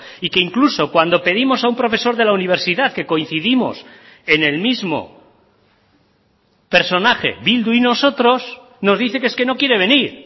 y que incluso cuando pedimos a un profesor de la universidad que coincidimos en el mismo personaje bildu y nosotros nos dice que es que no quiere venir